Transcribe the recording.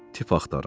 Tip axtarın.